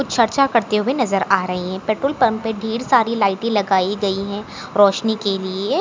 चर्चा करते हुए नजर आ रहे हैं पेट्रोल पंप ढेर सारी लाइटे लगाई गई हैं रोशनी के लिए।